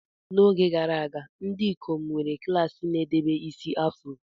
N'oge gara aga, ndị ikom nwere klaasị na-edebe isi afro.